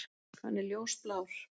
Hann er ljósblár.